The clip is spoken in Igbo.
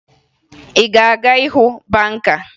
Ị na-aga ịga hụ banka?